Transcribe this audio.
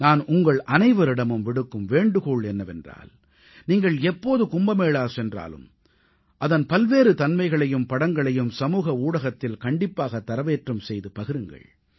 நான் உங்களனைவரிடமும் விடுக்கும் வேண்டுகோள் என்னவென்றால் நீங்கள் எப்போது கும்பமேளா சென்றாலும் அதன் பல்வேறு தன்மைகளையும் படங்களையும் சமூக ஊடகத்தில் கண்டிப்பாகத் தரவேற்றம் செய்து பகிருங்கள்